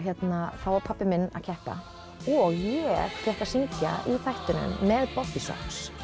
þá var pabbi minn að keppa og ég fékk að syngja í þættinum með Bobbysocks